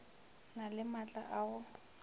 na le maatla a go